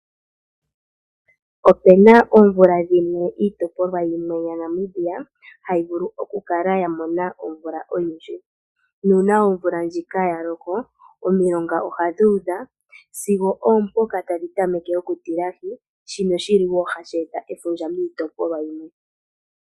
Opena oomvula dhimwe iitopolwa yimwe yaNamibia hayi vulu oku kala ya mona omvula oyindji. Nuuna omvula ndjika ya loko, omilonga ohadhi udha sigo oompoka tadhi tameke oku tilahi shimwe shili wo hashi eta efundja miitopolwa yimwe.